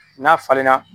N'a falenna